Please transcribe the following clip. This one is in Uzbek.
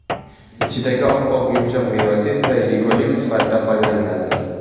Ichidagi oppoq yumshoq mevasi esa yegulik sifatida foydalaniladi.